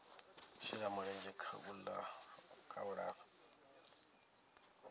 shela mulenzhe kha u lafha